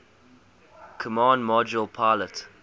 command module pilot